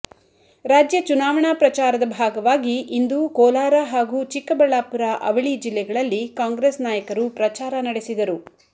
ರಾಜ್ಯ ಚುನಾವಣಾ ಪ್ರಚಾರದ ಭಾಗವಾಗಿ ಇಂದು ಕೋಲಾರ ಹಾಗೂ ಚಿಕ್ಕಬಳ್ಳಾಪುರ ಅವಳಿ ಜಿಲ್ಲೆಗಳಲ್ಲಿ ಕಾಂಗ್ರೆಸ್ ನಾಯಕರು ಪ್ರಚಾರ ನಡೆಸಿದರು